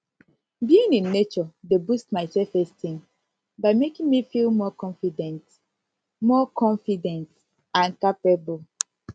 being in nature dey boost my selfesteem by making me feel more confident more confident and capable